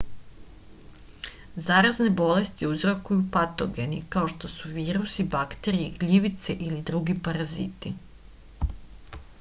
zarazne bolesti uzrokuju patogeni kao što su virusi bakterije gljivice ili drugi paraziti